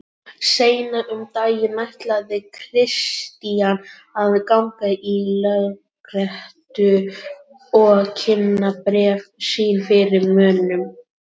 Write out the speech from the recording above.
Seinna um daginn ætlaði Christian að ganga í lögréttu og kynna bréf sín fyrir mönnum.